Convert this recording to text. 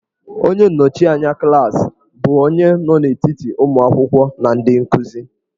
Onye nnọchianya klaasị bụ onye nọ n'etiti ụmụ akwụkwọ na ndị nkuzi.